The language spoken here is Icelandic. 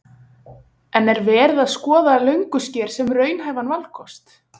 En er verið að skoða Löngusker sem raunhæfan valkost?